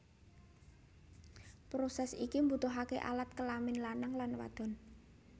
Proses ini mbutuhke alat kelamin lanang lan wadon